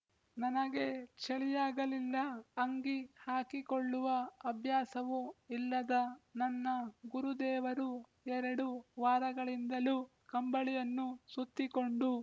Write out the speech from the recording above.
ನನಗೆ ಚಳಿಯಾಗಲಿಲ್ಲ ಅಂಗಿ ಹಾಕಿಕೊಳ್ಳುವ ಅಭ್ಯಾಸವೂ ಇಲ್ಲದ ನನ್ನ ಗುರುದೇವರು ಎರಡು ವಾರಗಳಿಂದಲೂ ಕಂಬಳಿಯನ್ನು ಸುತ್ತಿಕೊಂಡು